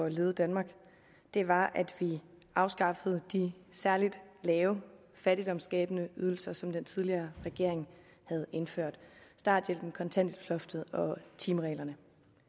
at lede danmark var at vi afskaffede de særligt lave fattigdomsskabende ydelser som den tidligere regering havde indført starthjælpen kontanthjælpsloftet og timereglerne